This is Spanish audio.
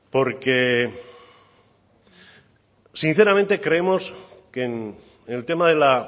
porque sinceramente creemos que en el tema de la